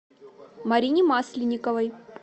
марине масленниковой